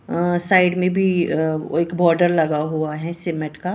अह side में भी अ एक बॉर्डर लगा हुआ है सीमेंट का।